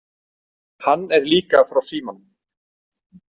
Hann er líka frá Símanum.